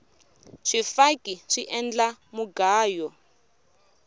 swifaki swi endla mugayo